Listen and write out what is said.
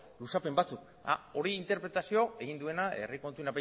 luzapen batzuk hori interpretazio egin duena herri kontuen